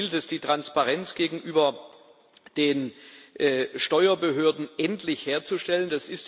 Dabei gilt es, die Transparenz gegenüber den Steuerbehörden endlich herzustellen.